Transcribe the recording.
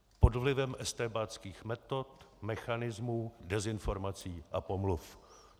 Pod vlivem estébáckých metod, mechanismů, dezinformací a pomluv.